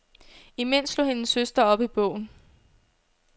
Imens slog hendes søster op i bogen.